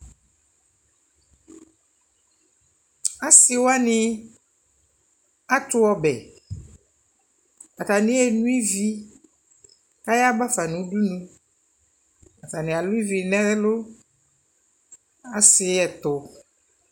Asiwani atu ɔbɛ Atani yeno ivi kʋ ayabafa nʋ udunu Atani alʋ ivi nʋ ɛlʋ, asi ɛtʋ